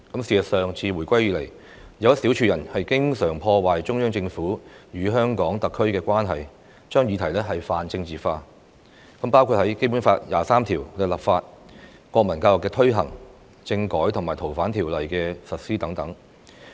事實上，自回歸以來，有一小撮人經常破壞中央政府與香港特區的關係，將議題泛政治化，包括《基本法》第二十三條的立法、國民教育的推行、政改和《逃犯條例》的實施等。